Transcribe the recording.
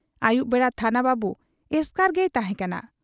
ᱟᱹᱭᱩᱵ ᱵᱮᱲᱟ ᱛᱷᱟᱱᱟ ᱵᱟᱹᱵᱩ ᱮᱥᱠᱟᱨ ᱜᱮᱭ ᱛᱟᱦᱮᱸ ᱠᱟᱱᱟ ᱾